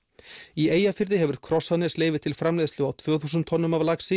í Eyjafirði hefur Krossanes leyfi til framleiðslu á tvö þúsund tonnum af laxi